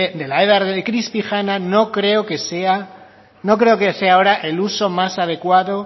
de la edar de crispijana no creo que sea ahora el uso más adecuado